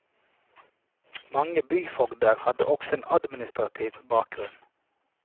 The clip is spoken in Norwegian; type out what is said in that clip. Mange byfogder hadde også en administrativ bakgrunn.